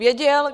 Věděl?